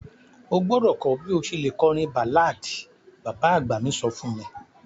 O gbọ́dọ̀ kọ bi o ṣe le kọrin ballad; baba agba mi so fun mi.